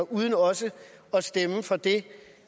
uden også at stemme for det